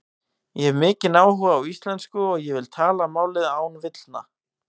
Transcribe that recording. Ég hef mikinn áhuga á íslensku og ég vil tala málið án villna.